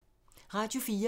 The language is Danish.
Radio 4